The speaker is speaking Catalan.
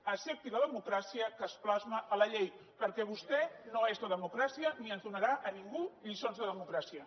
accepti la democràcia que es plasma en la llei perquè vostè no és la democràcia ni ens donarà a ningú lliçons de democràcia